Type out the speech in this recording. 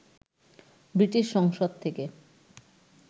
British সংসদ থেকে